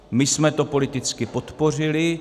My jsme to politicky podpořili.